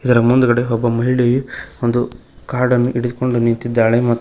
ಇದರ ಮುಂದಗಡೆ ಒಬ್ಬ ಮಹಿಳೆಯು ಒಂದು ಕಾರ್ಡ್ ಅನ್ನು ಹಿಡಿದುಕೊಂಡ ನಿಂತಿದ್ದಾಳೆ ಮತ್ತು --